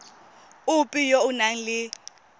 ope yo o nang le